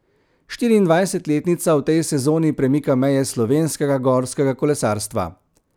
Štiriindvajsetletnica v tej sezoni premika meje slovenskega gorskega kolesarstva.